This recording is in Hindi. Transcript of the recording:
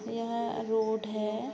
यह रोड है ।